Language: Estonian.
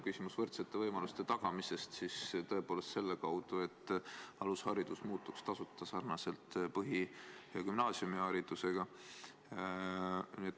Küsimus on võrdsete võimaluste tagamises selle kaudu, et alusharidus oleks tasuta sarnaselt põhi- ja gümnaasiumiharidusega.